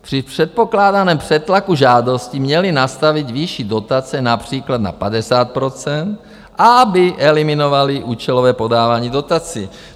Při předpokládaném přetlaku žádostí měli nastavit výši dotace například na 50 %, aby eliminovali účelové podávání dotací.